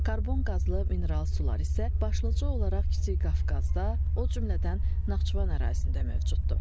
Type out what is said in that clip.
Karbon qazlı mineral sular isə başlıca olaraq Kiçik Qafqazda, o cümlədən Naxçıvan ərazisində mövcuddur.